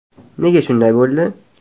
Nega shunday bo‘ldi?